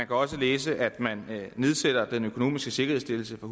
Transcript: kan også læse at man nedsætter den økonomiske sikkerhedsstillelse fra